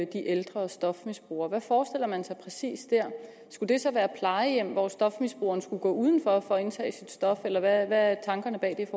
ældre stofmisbrugere hvad forestiller man sig præcis der skulle det så være plejehjem hvor stofmisbrugeren skulle gå udenfor for at indtage sit stof eller hvad er tankerne bag